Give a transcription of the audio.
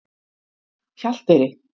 Hjalteyri